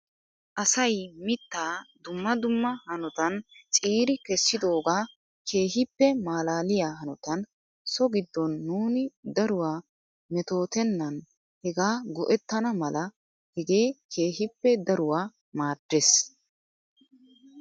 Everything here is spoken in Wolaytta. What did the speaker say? Asay mittaa dumma dumma hanotan ciiri kessidoogaa keehippe malaaliyaa hanotan so giddon nuuni daruwaa metootenna hegaa go'ettana mala hegee keehippe daruwaa maaddes.